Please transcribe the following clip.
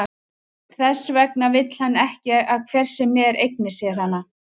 Þess vegna vill hann ekki að hver sem er eigni sér hana.